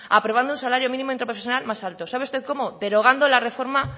aprobando un salario mínimo interprofesional más alto sabe usted cómo derogando la reforma